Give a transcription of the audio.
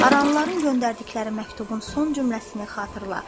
Aranlıların göndərdikləri məktubun son cümləsini xatırla.